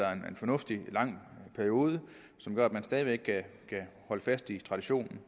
er en fornuftig lang periode som gør at man stadig væk kan holde fast i traditionen